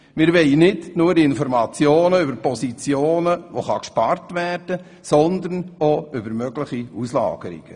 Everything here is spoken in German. Wir wollen nicht nur Informationen erhalten über Positionen, bei denen man sparen kann, sondern auch über mögliche Auslagerungen.